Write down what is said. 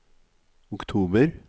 oktober